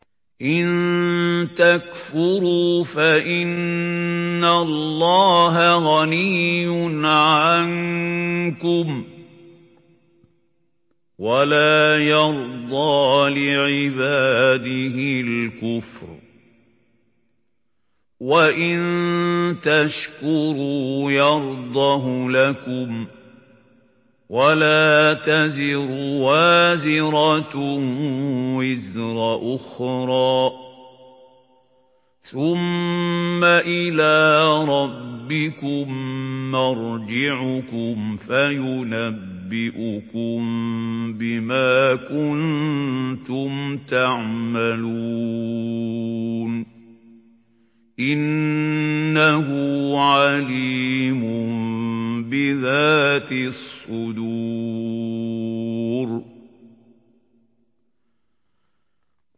إِن تَكْفُرُوا فَإِنَّ اللَّهَ غَنِيٌّ عَنكُمْ ۖ وَلَا يَرْضَىٰ لِعِبَادِهِ الْكُفْرَ ۖ وَإِن تَشْكُرُوا يَرْضَهُ لَكُمْ ۗ وَلَا تَزِرُ وَازِرَةٌ وِزْرَ أُخْرَىٰ ۗ ثُمَّ إِلَىٰ رَبِّكُم مَّرْجِعُكُمْ فَيُنَبِّئُكُم بِمَا كُنتُمْ تَعْمَلُونَ ۚ إِنَّهُ عَلِيمٌ بِذَاتِ الصُّدُورِ